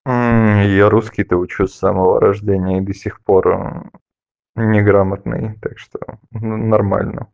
я русский то учу с самого рождения и до сих пор неграмотный так что нормально